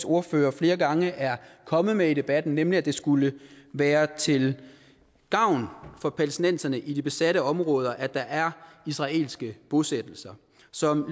ordfører flere gange er kommet med i debatten nemlig at det skulle være til gavn for palæstinenserne i de besatte områder at der er israelske bosættelser som